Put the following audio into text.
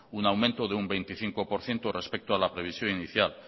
un aumento de un veinticinco por ciento respecto a la previsión inicial